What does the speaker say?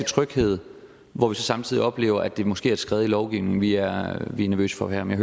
tryghed hvor vi så samtidig oplever at det måske er et skred i lovgivningen vi er nervøse for her men